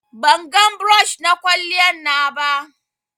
bangan brush na kwaliyan na ba